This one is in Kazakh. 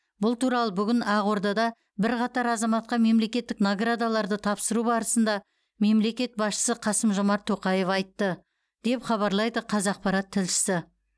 бұл туралы бүгін ақордада бірқатар азаматқа мемлекеттік наградаларды тапсыру барысында мемлекет басшысы қасым жомарт тоқаев айтты деп хабарлайды қазақпарат тілшісі